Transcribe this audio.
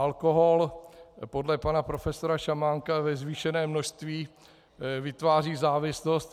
Alkohol podle pana profesora Šamánka ve zvýšeném množství vytváří závislost.